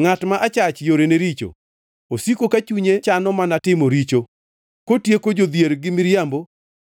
Ngʼat ma achach yorene richo, osiko ka chunye chano mana timo richo, kotieko jodhier gi miriambo